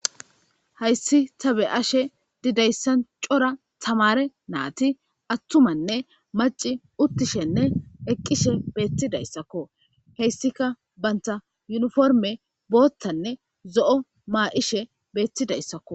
Hayis ta be'ashe dizayisan coora tamare nayiti atumane maci uttishene eqishe betizaysako enitika banita uniforime bothanee zo'o ma'ishe betizayisako